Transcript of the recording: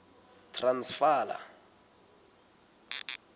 transvala